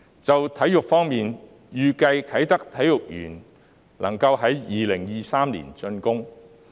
就體育方面，預計啟德體育園可在2023年竣工。